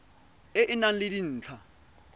e e nang le dintlha